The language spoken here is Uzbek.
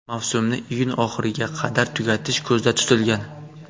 Mavsumni iyun oxiriga qadar tugatish ko‘zda tutilgan.